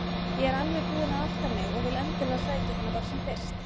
Ég er alveg búin að átta mig og vil endilega sækja hana bara sem fyrst.